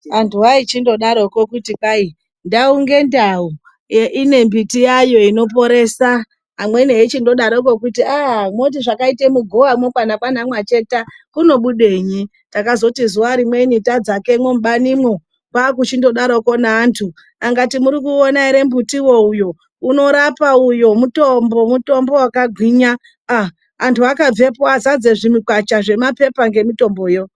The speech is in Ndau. Andu aichingodaroko kuti hai ndau ngendau ine mbiti yayo inoporesa amweni eichi ngodaroko eibhuya kuti munoti zvakaita mugowa kana kwana Mwacheta kuti kunobudenyi takazoti zuwa rimweni tadzakemo mubanimo kwachingidaroko neandu kuti muri kuona ere mbuti uyo unorapa mutombo wakagwinya vandu vakabvepo vazadza mikwacha zvemapepa nemitomboyo.